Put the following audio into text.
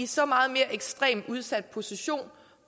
så meget mere ekstremt udsat position